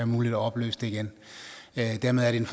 muligt at opløse det igen dermed er det en